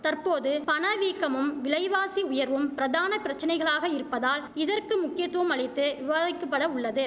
தற்போது பணவீக்கமும் விலைவாசி உயர்வும் பிரதான பிரச்சனைகளாக இருப்பதால் இதற்கு முக்கியத்துவம் அளித்து விவாதிக்கப்பட உள்ளது